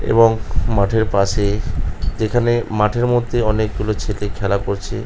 এবং মাঠের পাশে যেখানে মাঠের মধ্যে অনেকগুলো ছেলে খেলা করছে ।